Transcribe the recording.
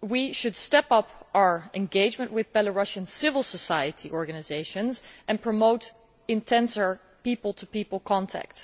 we should step up our engagement with Belarusian civil society organisations and promote more intense people to people contact.